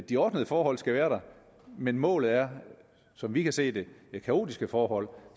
de ordnede forhold skal være der men målet er som vi kan se det kaotiske forhold